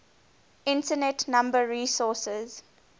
internet number resources